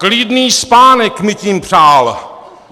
Klidný spánek mi tím přál.